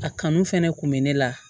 A kanu fɛnɛ kun bɛ ne la